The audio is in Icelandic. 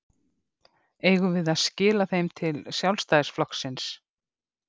Eigum við að skila þeim til Sjálfstæðisflokksins?